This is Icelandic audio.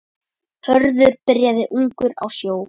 Hörður byrjaði ungur á sjó.